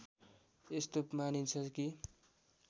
यस्तो मानिन्छ कि